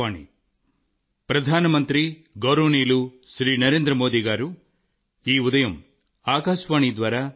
నా ప్రియమైన దేశవాసుల్లారా